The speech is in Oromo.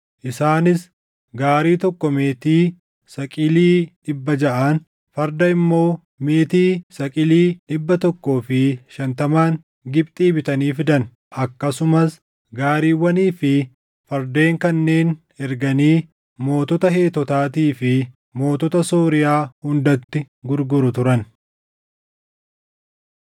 Isaanis gaarii tokko meetii saqilii dhibba jaʼaan, farda immoo meetii saqilii dhibba tokkoo fi shantamaan Gibxii bitanii fidan. Akkasumas gaariiwwanii fi fardeen kanneen erganii mootota Heetotaatii fi mootota Sooriyaa hundatti gurguru turan.